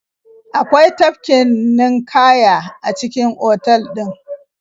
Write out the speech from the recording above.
Akwai tafkin ninƙaya a cikin otal ɗin.